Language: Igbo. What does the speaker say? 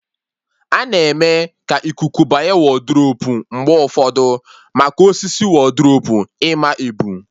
A-na eme ka ikuku banye wodrubu mgbe ụfọdụ, maka osisi wodrubu ịma ebu